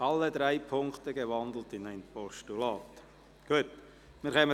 Wer die Ziffer 1 als Postulat überweisen will, stimmt Ja, wer dies ablehnt, stimmt Nein.